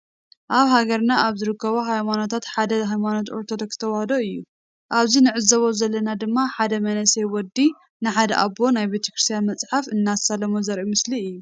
አብ ሃገርና ካበ ዝርከቡ ሃይማኖታት ሓደ ሃይማኖት አርቶዶክስ ተዋህዶ እዩ። አብዚ ንዕዞቦ ዘለና ድማ ሓደ መንእሰይ ወዲ ንሓደ አቦ ናይ ቤተክርስትያን መፅሓፍ እናሳሎሞ ዘሪኢ ምስሊ እዩ።